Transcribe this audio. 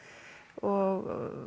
og